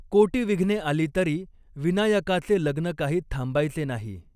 कोटीविघ्ने आली तरी विनायकाचे लग्न काही थांबायचे नाही!